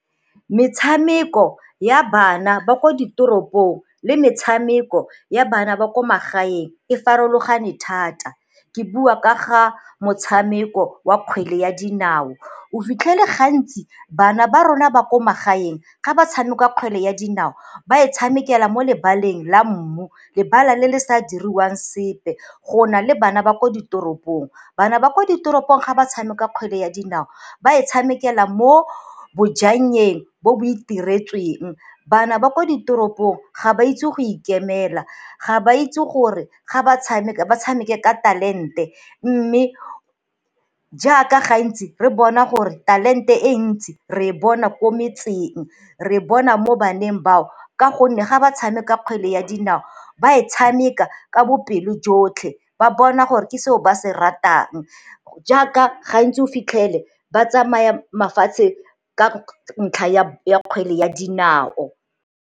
Metshameko ya bana ba ko ditoropo le metshameko ya bana ba ko magaeng e farologane thata, ke bua ka ga motshameko wa kgwele ya dinao. O fitlhele gantsi bana ba rona ba ko magaeng ga ba tshameka kgwele ya dinao, ba e tshamekela mo lebaleng la mmu lebala le le sa diriwang sepe go na le bana ba ko ditoropong bana ba ko ditoropong ga ba tshameka kgwele ya dinao ba e tshamekela mo bojangeng bo bo iteretsweng. Bana ba kwa ditoropong ga ba itse go ikemela, ga ba itse gore ga ba tshameka ba tshameke ka talente mme jaaka gantsi re bona gore talente e ntsi re e bona ko metseng, re e bona mo baneng bao ka gonne ga ba tshameka kgwele ya dinao ba e tshameka ka bopelo jotlhe ba bona gore ke seo ba se ratang. Jaaka gantsi o fitlhele ba tsamaya mafatshe ka ntlha ya kgwele ya dinao.